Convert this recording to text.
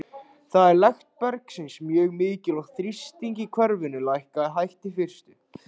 Þar er lekt bergsins mjög mikil, og þrýstingur í kerfinu lækkaði hægt í fyrstu.